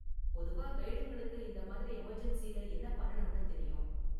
பொதுவா கைடுங்களுக்கு இந்த மாதிரி எமர்ஜென்ஸில என்ன பண்ணனும்னு தெரியும்.